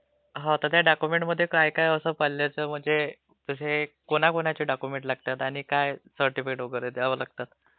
हो म्हणजे त्या डॉक्युम्ंटमध्ये काय काय होत पाल्याचं, म्हणजे हे कोणाकोणाचे डॉक्युमेंटस् लागतात आणि काय सर्टीफिकेट वैगरे द्यावे लागतं..